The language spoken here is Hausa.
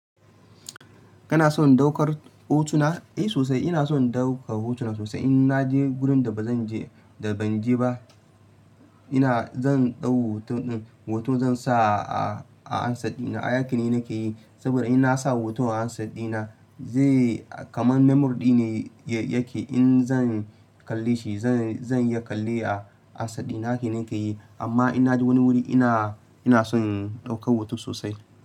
Kana son ɗaukar hotuna? Eh sosai ina son ɗaukar hotu sosai. In na je wurin da ba zan je da ban je ba ina zan ɗau hoton zan sa a ansaddina. Hake ne nake yi. Saboda in na sa hoton a ansad dina zai kaman memory ne yake. In zan kalle shi zan, zan iya kalle a ansad dina. Hake nake yi. Amma in na je wani wuri ina, ina son ɗaukar hotu sosai.